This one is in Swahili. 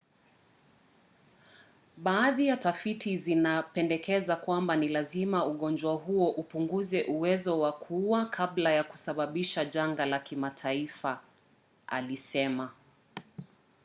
baadhi ya tafiti zinapendekeza kwamba ni lazima ugonjwa huo upunguze uwezo wa kuua kabla ya kusababisha janga la kimataifa alisema